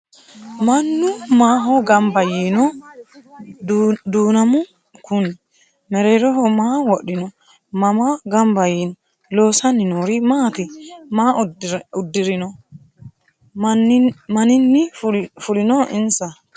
Mannu maaho ganbba yiinno duunammu Kuni? Mereerroho maa wodhinno? Mama ganbba yiinno? Loosanni noori maatti? Maa udirinno? Maninni fullinno insa?